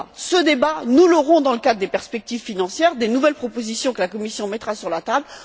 Ce débat, nous l'aurons dans le cadre des perspectives financières, des nouvelles propositions que la Commission mettra sur la table.